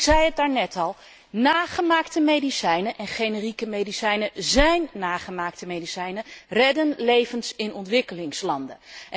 Ik zei het daarnet al, nagemaakte medicijnen en generieke medicijnen zijn nagemaakte medicijnen redden levens in ontwikkelingslanden.